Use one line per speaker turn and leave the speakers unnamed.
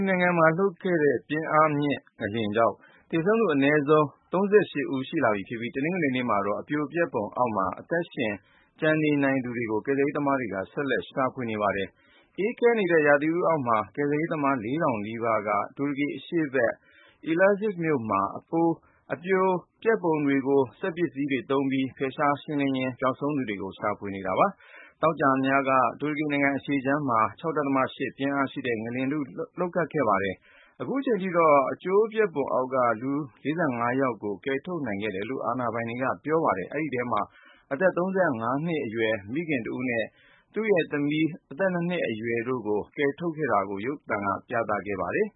နိုင်ငံမှာ လှုပ်ခဲ့တဲ့ ပြင်းအားမြင့်ငလျင်ကြောင့် သေဆုံးသူ အနည်းဆုံး ၃၈ ဦးရှိလာပြီဖြစ်ပြီး တနင်္ဂနွေနေ့မှာတော့ အပြိုအပျက်ပုံအောက်မှာ အသက်ရှင်ကျန်နေနိုင်သူတွေကို ကယ်ဆယ်ရေးသမားတွေက ဆက်လက်ရှာဖွေနေကြပါတယ်။ အေးခဲနေတဲ့ ရာသီဥတုအောက်မှာ ကယ်ဆယ်ရေးသမား ၄ ထောင်နီးပါးက တူရကီအရှေ့ဘက် Elazig မြို့မှာ အပြိုပျက်ပုံတွေကို စက်ပစ္စည်းတွေသုံးပြီး ဖယ်ရှားရှင်းလင်းရင်း ပျောက်ဆုံးသူတွေကို ရှာဖွေနေကြတာပါ။ သောကြာညက တူရကီနိုင်ငံ အရှေ့ခြမ်းမှာ ၆.၈ ပြင်အားရှိတဲ့ ငလျင်တခု လှုပ်ခဲ့တာဖြစ်ပါတယ်။ အခုချိန်ထိတော့ အကျိုးအပျက်ပုံအောက်က လူ ၄၅ ယောက်ကို ကယ်ထုတ်နိုင်ခဲ့တယ်လို့ အာဏာပိုင်တွေက ပြောပါတယ်။ အဲဒီထဲမှာ အသက် ၃၅ နှစ်အရွယ်မိခင် Ayse Yildiz နဲ့ ၂ နှစ်အရွယ် သူ့သမီး Yusra တို့ကို ကယ်ထုတ်ခဲ့တာကို ရုပ်သံကတဆင့် ပြသခဲ့
ပါတယ်